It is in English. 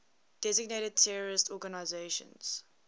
designated terrorist organizations